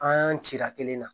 An cira kelen na